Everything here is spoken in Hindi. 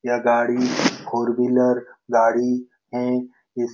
यह गाडी फोर-व्हीलर गाड़ी है इस --